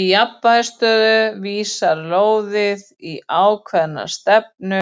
Í jafnvægisstöðu vísar lóðið í ákveðna stefnu